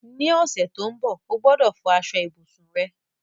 Ní ọ̀sẹ̀ to n bo, o gbọ́dọ̀ fọ aso ibùsùn rẹ